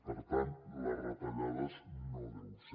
per tant les retallades no deuen ser